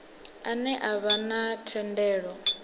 ane a vha na thendelo